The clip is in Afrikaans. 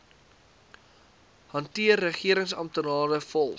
hanteer regeringsamptenare volg